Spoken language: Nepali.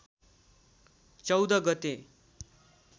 १४ गते